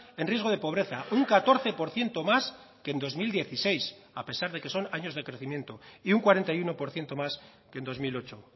en riesgo de pobreza un catorce por ciento más que en dos mil dieciséis a pesar de que son años de crecimiento y un cuarenta y uno por ciento más que en dos mil ocho